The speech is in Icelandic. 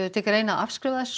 til greina að afskrifa þessa